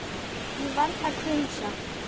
Ég varð hvumsa.